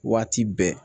Waati bɛɛ